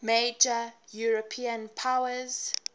major european powers